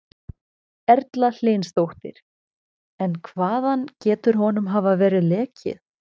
Erla Hlynsdóttir: En hvaðan getur honum hafa verið lekið?